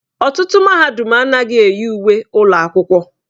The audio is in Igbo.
Ọtụtụ mahadum anaghị eyi uwe ụlọ akwụkwọ.